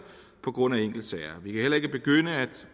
på grund af enkeltsager vi kan heller ikke begynde at